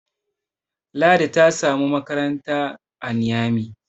Ladi ta samu makaranta a Niyami